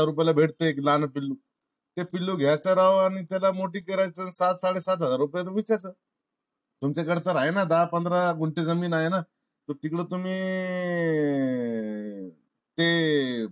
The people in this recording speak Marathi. रुपयाला भेटते एक लहान पिल्लू. ते पिल्लू घ्यायचं राव आणि त्याला मोठी करायच. सात साडे सात हजारात विकायचं. तुमच्या कडे तर आहे ना? दहा पंधरा गुंठे जमीन आहे ना? मग तिकडे तुम्ही ते